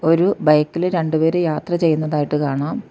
ഒരു ബൈക്കില് രണ്ട് പേര് യാത്ര ചെയ്യുന്നതായിട്ട് കാണാം.